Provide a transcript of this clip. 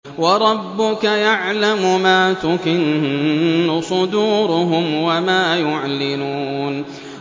وَرَبُّكَ يَعْلَمُ مَا تُكِنُّ صُدُورُهُمْ وَمَا يُعْلِنُونَ